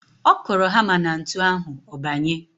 Ọ kụrụ hamá na ntu ahụ, ọ banye.